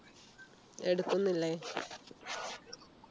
എടുക്കുന്നില്ലേ